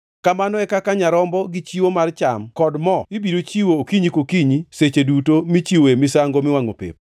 Kamano e kaka nyarombo gi chiwo mar cham kod mo ibiro chiwo okinyi kokinyi seche duto michiwoe misango miwangʼo pep.